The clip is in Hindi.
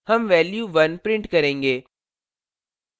हम value 1 print करेंगे